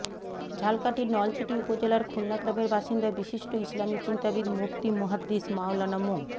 ঝালকাঠির নলছিটি উপজেলার খুলনা গ্রামের বাসিন্দা বিশিষ্ট ইসলামী চিন্তাবিদ মুফতি মুহাদ্দিস মাওলানা মো